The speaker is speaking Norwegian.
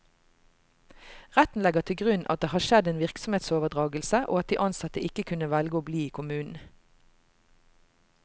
Retten legger til grunn at det har skjedd en virksomhetsoverdragelse, og at de ansatte ikke kunne velge å bli i kommunen.